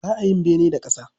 Ba a yin bene da ƙasa.